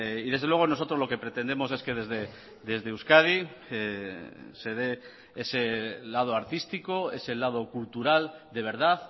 y desde luego nosotros lo que pretendemos es que desde euskadi se dé ese lado artístico ese lado cultural de verdad